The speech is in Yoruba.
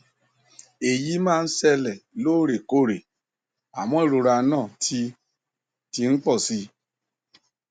èyí máa ń ṣẹlẹ lóòrèkóòrè àmọ ìrora náà ti ti ń pọ si